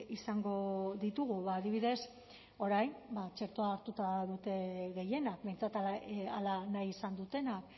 izango ditugu adibidez orain txertoa hartuta dute gehienak behintzat hala nahi izan dutenak